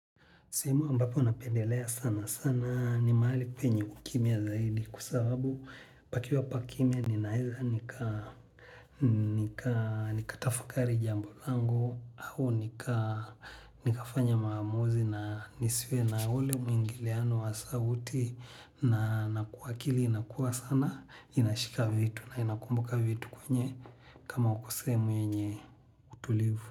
Sehemu ambapo napendelea sana sana ni mahali penye kukimia zaidi kwa sababu pakiwa pakimia ninaweza nika nikatafakari jambo langu au nikafanya maamuzi na nisiwe na ule mwingiliano wa sauti na nakuakili inakuwa sana inashika vitu na inakumbuka vitu kwenye kama uko sehemu yenye utulivu.